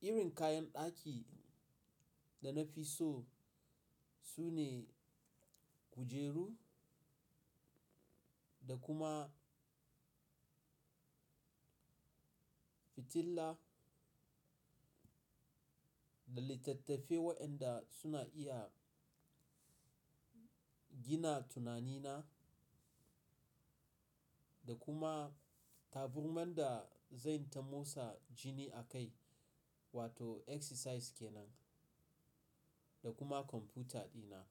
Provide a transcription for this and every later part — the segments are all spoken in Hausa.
Irin kayan ɗaki da na fi so sune kujeru da kuma fitila, da littattafai waɗanda suna iya gina tunanina, da kuma taburman da zan ta motsa jini a kai wato exercise ke nan, da kuma kwamfuta dina.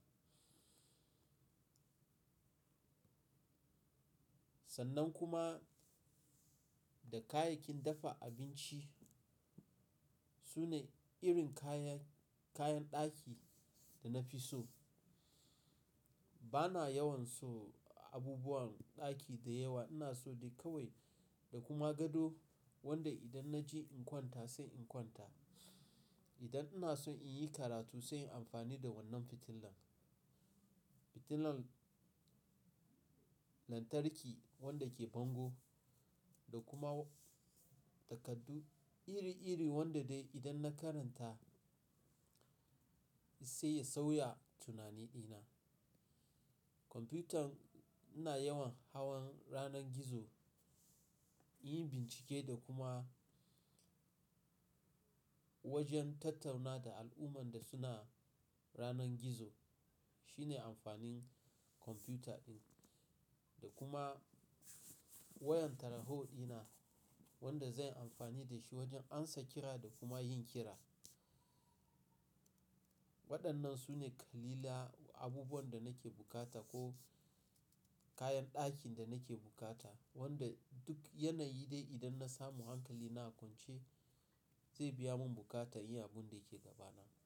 Sannan kuma da kayayyakin dafa abinci. Sune irin kayan, kayan ɗaki da na fi so. Bana yawan so abubuwan ɗaki da yawa. Ina so dai kawai da kuma gado wanda idan na je in kwanta sai in kwanta. Idan ina so in yi karatu sai in yi amfani da wannan fitilan. Fitilan lantarki wanda ke bango da kuma takardu iri-iri wanda dai idan na karanta sai ya sauya tunani dina. Computer ina yawan hawan yanar gizo, in yi bincike da kuma wajen tattauna da al'umman da suna yanar gizo. Shine amfanin kwamfuta ɗin. Da kuma wayan taraho dina wanda zan yi amfani da shi wajen amsa kira da kuma yin kira. Waɗannan sune ƙalilan abubuwan da nake bukata ko kayan ɗakin da nake bukata. Wanda duk yanayi dai idan na samu hankali na kwance zai biya mun buƙatar yin abun da yake gaba nan.